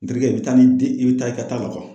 Nterikɛ i bi taa ni i bɛ taa i ka taa ka